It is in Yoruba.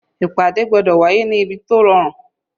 Ìpàdé gbọ́dọ̀ wá yé ní ibi tó rọrùn.